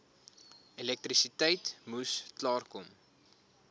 elektrisiteit moes klaarkom